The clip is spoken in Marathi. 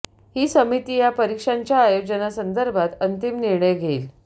ही समिती या परीक्षांच्या आयोजनासंदर्भात अंतिम निर्णय घेईल